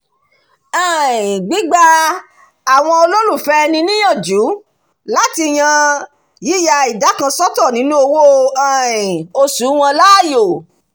um gbígba àwọn olólùfẹ́ ẹni níyànjú láti yan yíya ìdá kan sọ́tọ̀ nínú owó um oṣù wọn láàyò